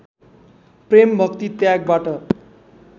प्रेम भक्ति त्यागबाट